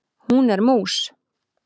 Hún er mús.